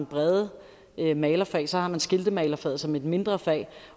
brede malerfag og så har man skiltemagerfaget som et mindre fag